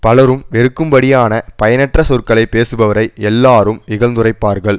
பலரும் வெறுக்கும்படியான பயனற்ற சொற்களை பேசுபவரை எல்லாரும் இகழ்ந்துரைப்பார்கள்